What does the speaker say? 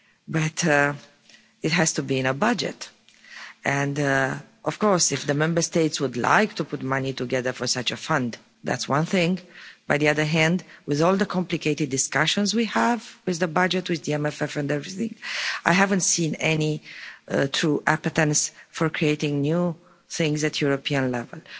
But it has to be in a budget and of course if the Member States would like to put money together for such a fund that's one thing, on the other hand, with all the complicated discussions we have with the budget, with the MFF and everything, I haven't seen any true appetite for creating new things at the European level.